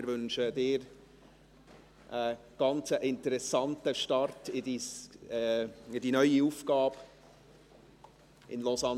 Wir wünschen Ihnen einen ganz interessanten Start in die neue Aufgabe in Lausanne.